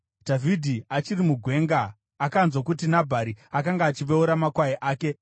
Dhavhidhi achiri mugwenga, akanzwa kuti Nabhari akanga achiveura makwai ake.